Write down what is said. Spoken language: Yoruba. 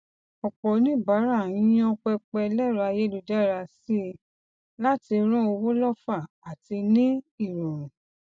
ọpọ oníbàárà ń yan pẹpẹ ẹlẹrọ ayélujára síi láti rán owó lọfà àti ní irọrun